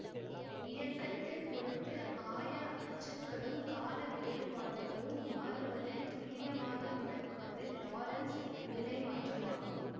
இயக்கத்தை பொறுத்து ஆய அச்சுக்களும் கால வேறுபாடுகளும் மாறுவதைத் துல்லியமாக விளக்குவது லாரன்ஸ் நிலைமாற்றமாகும்